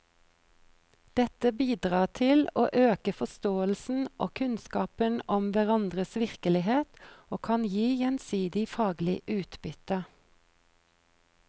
Dette bidrar til å øke forståelsen og kunnskapen om hverandres virkelighet og kan gi gjensidig faglig utbytte.